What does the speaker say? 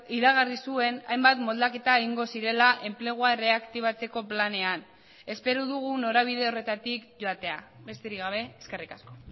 iragarri zuen hainbat moldaketa egingo zirela enplegua erreaktibatzeko planean espero dugu norabide horretatik joatea besterik gabe eskerrik asko